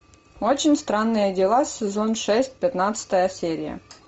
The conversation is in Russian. очень странные дела сезон шесть пятнадцатая серия